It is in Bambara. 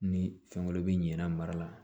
Ni fɛn wɛrɛ bi ɲinɛ mara la